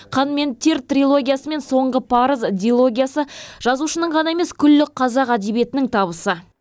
қан мен тер трилогиясы мен соңғы парыз дилогиясы жазушының ғана емес күллі қазақ әдебиетінің табысы